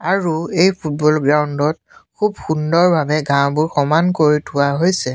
আৰু এই football ground ত খুব সুন্দৰ ভাৱে ঘাহঁবোৰ সমান কৰি থোৱা হৈছে।